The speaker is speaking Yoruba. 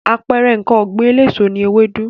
Àpẹẹrẹ ǹkan ọ̀gbìn eléso ni ewédú.